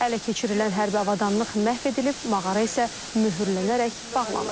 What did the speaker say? Ələ keçirilən hərbi avadanlıq məhv edilib, mağara isə möhürlənərək bağlanıb.